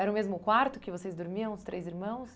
Era o mesmo quarto que vocês dormiam, os três irmãos?